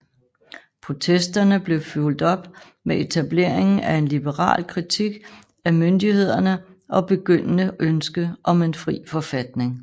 Protesterne blev fulgt op med etableringen af en liberal kritik af myndighederne og begyndende ønske om en fri forfatning